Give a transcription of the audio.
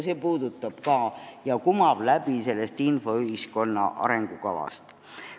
See kumab läbi ka infoühiskonna arengukavast.